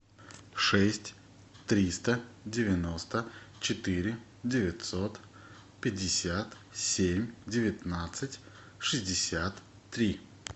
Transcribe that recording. шесть триста девяносто четыре девятьсот пятьдесят семь девятнадцать шестьдесят три